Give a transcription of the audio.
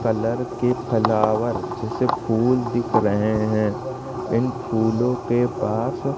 colour के flower जैसे फूल दिख रहे हैं इन फूलों के पास--